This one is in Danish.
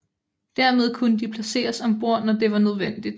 Dermed kunne de placeres om bord når det var nødvendigt